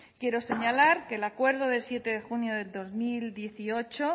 quiero señalar que el acuerdo del siete de junio del dos mil dieciocho